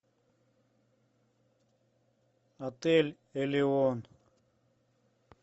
отель элеон